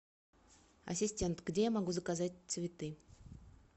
ассистент где я могу заказать цветы